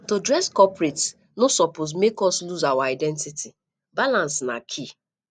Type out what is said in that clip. to dress corporate no suppose make us lose our identity balance na key